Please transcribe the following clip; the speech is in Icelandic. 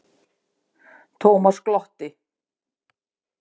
Thomas glotti.